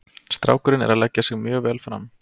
Strákurinn er að leggja sig mjög vel fram.